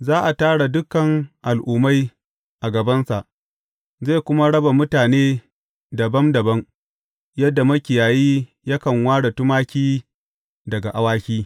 Za a tara dukan al’ummai a gabansa, zai kuma raba mutane dabam dabam yadda makiyayi yakan ware tumaki daga awaki.